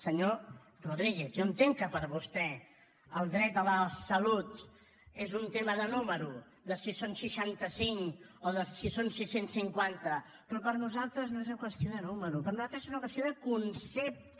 senyor rodríguez jo entenc que per vostè el dret a la salut és un tema de número de si són seixanta cinc o de si són sis cents i cinquanta però per nosaltres no és una qüestió de número per nosaltres és una qüestió de concepte